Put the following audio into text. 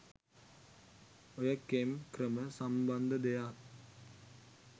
ඔය කෙම් ක්‍රම සම්බන්ධ දෙයක්..